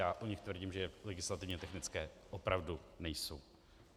Já o nich tvrdím, že legislativně technické opravdu nejsou.